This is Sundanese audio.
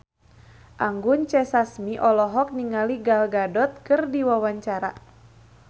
Anggun C. Sasmi olohok ningali Gal Gadot keur diwawancara